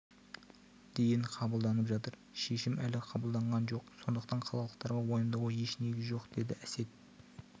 дейін қабылданып жатыр шешім әлі қабылданған жоқ сондықтан қалалықтарға уайымдауға еш негіз жоқ деді әсет